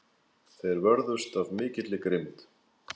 Þeir vörðust af mikilli grimmd.